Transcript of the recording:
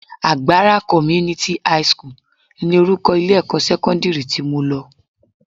Agbara Community high school ni orúkọ ilé-ẹ̀kọ́ sẹ́kọ́ndírì tí mo lọ